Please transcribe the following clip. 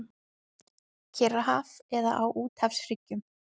Kyrrahaf eða á úthafshryggjum.